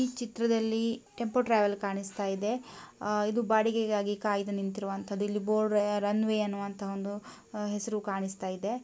ಈ ಚಿತ್ರದಲ್ಲಿ tempo travel ಕಾಣಿಸ್ತಾ ಇದೆ ಇದು ಬಾಡಿಗೆಗಾಗಿ ಕಾಯ್ದು ನಿಂತಿರುವಂತದ್ದು ಇಲ್ಲಿ ಬೋರ್ಡ್ನಲ್ಲಿ ರನ್ ವೇ ಅನ್ನುವಂತಹ ಒಂದು ಹೆಸರು ಕಾಣಿಸುತ್ತಾ ಇದೆ.